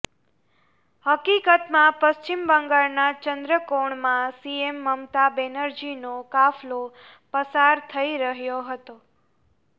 હકિકતમાં પશ્ચિમ બંગાળના ચંન્દ્રકોણમાં સીએમ મમતા બેનર્જીનો કાફલો પસાર થઈ રહ્યો હતો